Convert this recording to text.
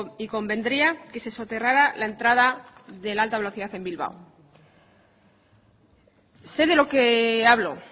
y convendría que se soterrara la entrada de la alta velocidad en bilbao sé de lo que hablo